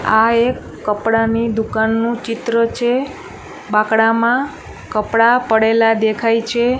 આ એક કપડાની દુકાનનું ચિત્ર છે બાંકડામા કપડા પડેલા દેખાય છે.